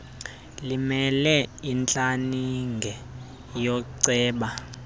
limele intlaninge yooceba